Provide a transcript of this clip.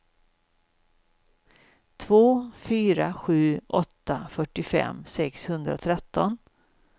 två fyra sju åtta fyrtiofem sexhundratretton